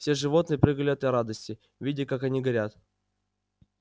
все животные прыгали от радости видя как они горят